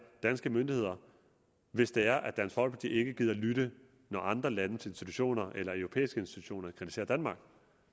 danske myndigheder hvis det er at dansk folkeparti ikke gider lytte når andre landes institutioner eller europæiske institutioner kritiserer danmark